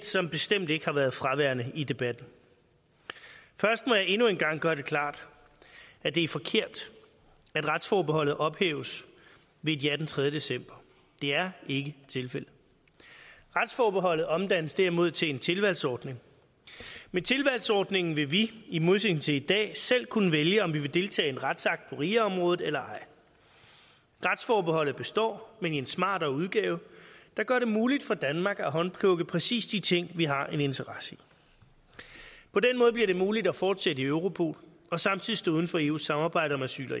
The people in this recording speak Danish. som bestemt ikke har været fraværende i debatten først må jeg endnu en gang gøre det klart at det er forkert at retsforbeholdet ophæves ved et ja den tredje december det er ikke tilfældet retsforbeholdet omdannes derimod til en tilvalgsordning med tilvalgsordningen vil vi i modsætning til i dag selv kunne vælge om vi vil deltage i en retsakt på ria området eller ej retsforbeholdet består men i en smartere udgave der gør det muligt for danmark at håndplukke præcis de ting vi har en interesse i på den måde bliver det muligt at fortsætte i europol og samtidig stå uden for eus samarbejde om asyl og